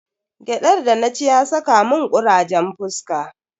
Gyadar da na ci ya saka mun kurajen fuska.